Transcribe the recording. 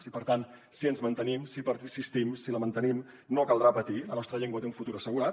i per tant si ens mantenim si persistim si la mantenim no caldrà patir la nostra llengua té un futur assegurat